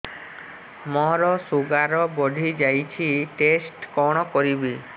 ମୋର ଶୁଗାର ବଢିଯାଇଛି ଟେଷ୍ଟ କଣ କରିବି